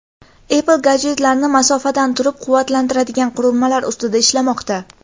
Apple gadjetlarni masofadan turib quvvatlantiradigan qurilmalar ustida ishlamoqda.